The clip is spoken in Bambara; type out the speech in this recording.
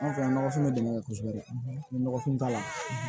An filɛ nɔgɔfin dɛmɛ kosɛbɛ ni nɔgɔfin t'a la